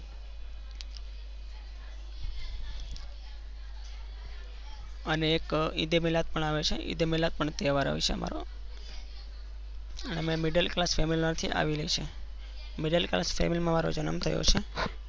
અને એક ઈદે મિલાદ પણ આવે છે. મિલાદપણ તહેવાર આવે છે અમાર મે middleclass family માં આવીએ છીએ middleclass family માં મારો જન્મ થયો છે.